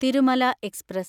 Thirumala express